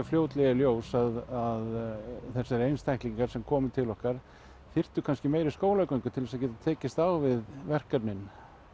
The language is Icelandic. fljótlega í ljós að þessir einstaklingar sem komu til okkar þyrftu kannski meiri skólagöngu til að geta tekist á við verkefnin